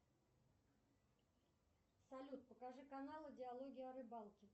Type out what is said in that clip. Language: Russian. салют покажи каналы диалоги о рыбалке